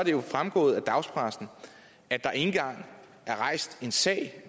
jo fremgået af dagspressen at der ikke engang er rejst en sag